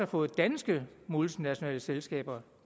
fået danske multinationale selskaber